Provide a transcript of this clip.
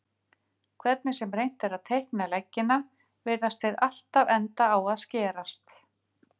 Hvernig sem reynt er að teikna leggina virðast þeir alltaf enda á að skerast.